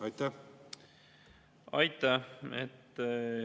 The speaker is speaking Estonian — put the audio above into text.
Aitäh!